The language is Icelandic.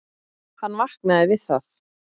Hann vaknaði við það að